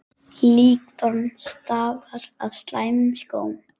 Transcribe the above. Líkþorn stafa af slæmum skóm.